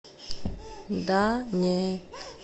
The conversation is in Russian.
да не